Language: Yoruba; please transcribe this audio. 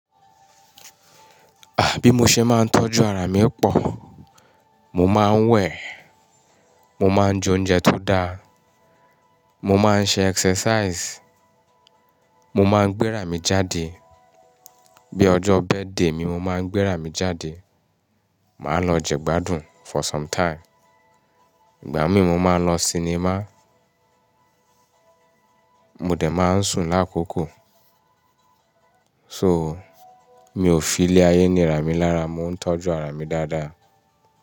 À bí mo ṣe máa ń tọ́jú ara mi o pọ, mo máa ń wẹ̀, mo máa ń jẹ oúnjẹ tó dáa, mo máa ń ṣe exercise, mo máa ń gbéra mi jáde. Bí ọjọ́ birthday mi, mo máa ń gbéra mi jáde, màá lọ jẹgbádùn for some time. Ìgbà míì mo máa ń lọ sinimá, mo dẹ̀ máa ń sùn lákòókò. So, mi ò filé ayé níra mi lára, mo ń tọ́jú ara mi dáadáa.